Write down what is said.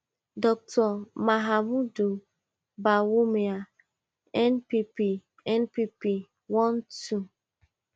dr mahamudu bawumia npp npp one two